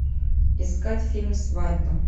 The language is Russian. искать фильм свадьба